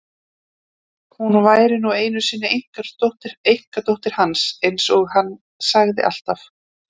Hún væri nú einu sinni einkadóttir eins og hann sagði alltaf.